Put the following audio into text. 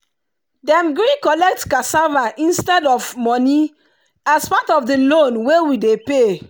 dem gree collect cassava instead of money as part of the loan wey we dey pay.